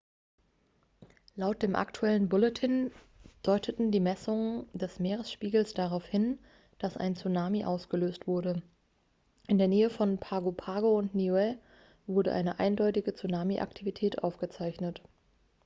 laut dem aktuellen bulletin deuteten die messungen des meeresspiegels darauf hin dass ein tsunami ausgelöst wurde in der nähe von pago pago und niue wurde eine eindeutige tsunami-aktivität aufgezeichnet